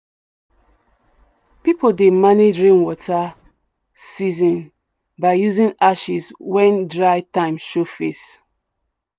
people dey manage rain water season by using ashes when dry time show face.